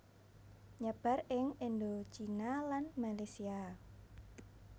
Nyebar ing Indochina lan Malesia